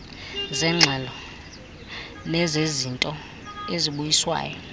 zeengxelo nezezinto ezibuyiswayo